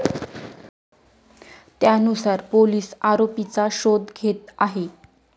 त्यानुसार पोलीस आरोपीचा शोध घेत आहे.